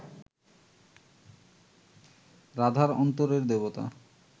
রাধার অন্তরের দেবতা